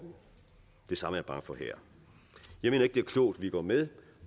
det samme er jeg bange for her jeg mener ikke det er klogt vi går med